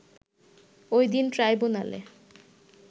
ওই দিন ট্রাইব্যুনালে